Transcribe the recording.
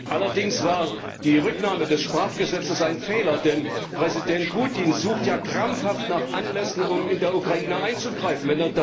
Allerdings war die Rücknahme des Sprachgesetzes ein Fehler, denn Präsident Putin sucht ja krampfhaft nach Anlässen, um in der Ukraine einzugreifen.